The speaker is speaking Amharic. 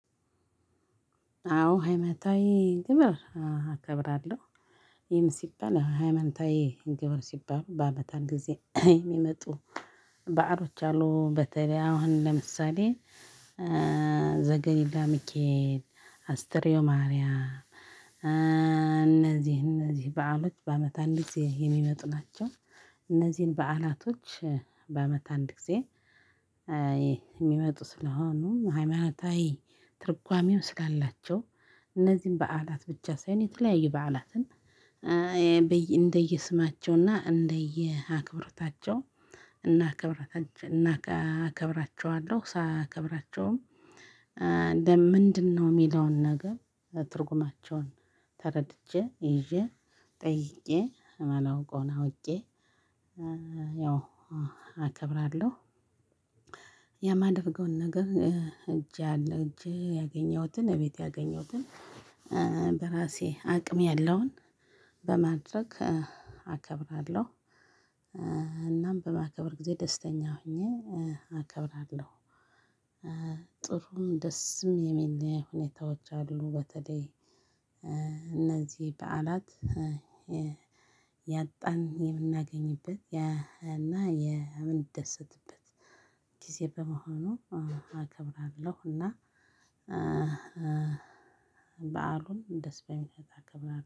አዎ ሃይማኖታዊ ግብር እከብራለሁ ይሄን ሲባል ሃይማኖታዊ ግብር ሲባል በአመት አንድ ጊዜ የሚመጡ ባህሎች አሉ። በተለይ አሁን ለምሳሌ ዘገሊላ ሚካኤል አስትሪዮ ማርያም እነዚህ እነዚህ በዓሎች በአመት አንድ ጊዜ የሚመጡ ናቸው። እነዚህን በዓላቶች በአመት አንድ ጊዜ የሚመጡ ስለሆኑ ሃይማኖታዊ ትርጓሜው ስላላቸው እነዚህን በዓላት ብቻ ሳይሆን የተለያየ በዓላትን እንደየስማቸውና እንደየአክብሮታቸው እናክብሮታቸው እናከብራቸዋለሁ። ሳያከብራቸውም እንደ ምንድነው የሚለውን ነገር ትርጉማቸውን ተረድቼ ይዤ ጠይቄ እማላውቀውን አውቄ ያው አከብራለሁ። የማደርገውን ነገር እጄ አለ እጄ ያገኘሁትን እቤቴ ያገኘሁትን በራሴ አቅም ያለውን በማድረግ አከብራለሁ። እናም በማከብር ጊዜ ደስተኛ ሆኜ አከብራለሁ። ጥሩም ደስም የሚለው ሁኔታዎች አሉ። በተለይ እነዚህ በዓላት ያጣን የምናገኝበት ያ እና የምንደሰትበት ጊዜ በመሆኑ አከብራለሁ። እና በዓሉን ደስ በሚል